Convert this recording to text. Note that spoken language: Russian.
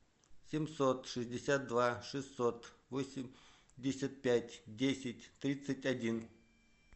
семьсот шестьдесят два шестьсот восемьдесят пять десять тридцать один